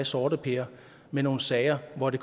sorteper med nogle sager hvor det